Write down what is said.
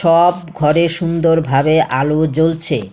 সব ঘরে সুন্দরভাবে আলো জ্বলছে।